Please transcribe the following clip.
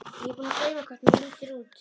Ég er búin að gleyma hvernig þú lítur út.